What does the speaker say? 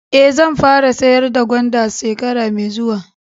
Eh, zan fara sayar da gwanda shekara mai zuwa.